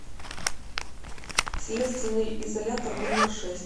следственный изолятор номер шесть